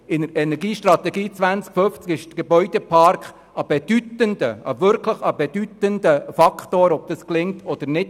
In der Energiestrategie 2050 ist der Gebäudepark ein wirklich bedeutender Faktor, dahingehend, ob es gelingt oder nicht.